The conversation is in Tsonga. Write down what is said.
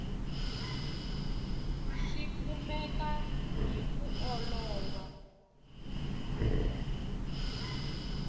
swi kumeka hi ku olova